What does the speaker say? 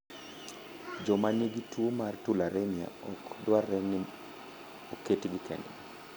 Joma nigi tuo mar tularemia ok dwarre ni oketgi kendgi.